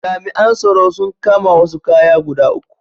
Jami’an tsaro sun kama wasu kaya guda uku.